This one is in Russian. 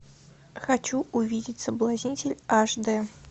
хочу увидеть соблазнитель аш дэ